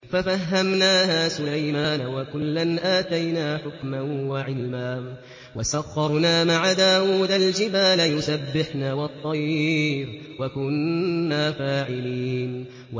فَفَهَّمْنَاهَا سُلَيْمَانَ ۚ وَكُلًّا آتَيْنَا حُكْمًا وَعِلْمًا ۚ وَسَخَّرْنَا مَعَ دَاوُودَ الْجِبَالَ يُسَبِّحْنَ وَالطَّيْرَ ۚ وَكُنَّا فَاعِلِينَ